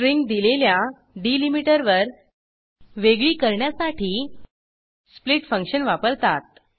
string दिलेल्या डिलीमीटरवर वेगळी करण्यासाठी स्प्लिट फंक्शन वापरतात